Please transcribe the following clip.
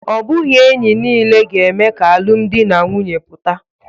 Ọ bụghị enyi niile ga-eme ka alụmdi na nwunye pụta